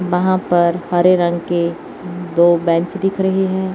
वहां पर हरे रंग के दो बेंच दिख रहे हैं।